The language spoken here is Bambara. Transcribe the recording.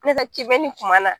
Ne ka kiimɛni tuma na